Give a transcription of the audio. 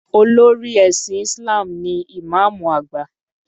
Olórí ẹ̀sìn Isalm ni Ìmáàmù àgbà.